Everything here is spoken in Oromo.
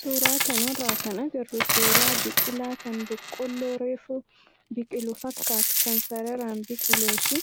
Suuraa kanarraa kan agarru suuraa biqilaa kan boqoolloo reefu biqilu fakkaatu kan sararaan biqilee fi